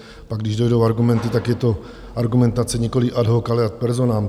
Pak, když dojdou argumenty, tak je to argumentace nikoliv ad hoc, ale ad personam.